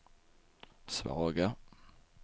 svaga